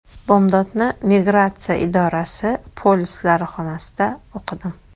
Bomdodni migratsiya idorasi polislari xonasida o‘qidim.